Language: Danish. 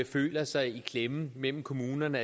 føler sig i klemme mellem kommunerne